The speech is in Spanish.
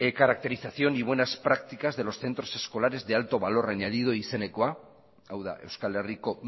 caracterización y buenas prácticas de los centros escolares de alto valor añadido izenekoa hau da euskal herriko